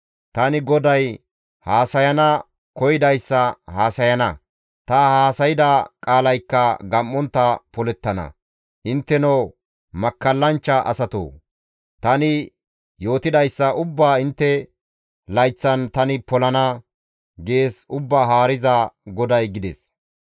Tani GODAY haasayana koyidayssa haasayana; ta haasayda qaalaykka gam7ontta polettana; intteno makkallanchcha asatoo! Tani yootidayssa ubbaa intte layththan tani polana› gees Ubbaa Haariza GODAY» gides.